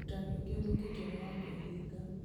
ũrutani ũngĩ ũthũkĩtio nĩ wa kwĩhinga